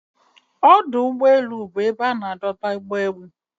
Ọdụ úgbọélụ́ bụ ebe ana adoba ụ́gbọ elụ.